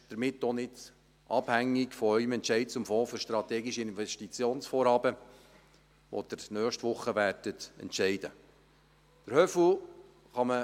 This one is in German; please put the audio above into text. Es ist somit auch nicht von Ihrem Entscheid zum Fonds für strategische Investitionsvorhaben abhängig, über den Sie nächste Woche entscheiden werden.